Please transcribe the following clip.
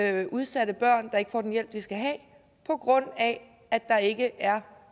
er udsatte børn der ikke får den hjælp de skal have på grund af at der ikke er